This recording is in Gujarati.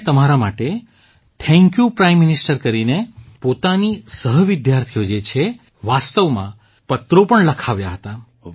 તેમણે તમારા માટે થેંક્યૂ પ્રાઇમ મિનિસ્ટર કરીને પોતાની સહવિદ્યાર્થીઓ જે છે વાસ્તવમાં પત્રો પણ લખાવ્યા હતા